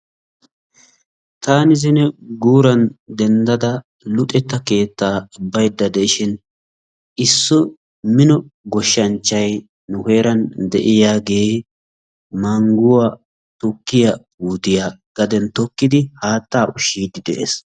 Tani zine guran denddada luxetta keetta baydda deishin issi minno goshshanchchay nu heeran deiyagee mangguwaa tukkiyaa puutioya gaden tokkidi haattaa ushshidi de'ees.